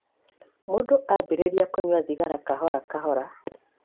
Mũndũ ambĩrĩria kũnyua thigara kahora kahora.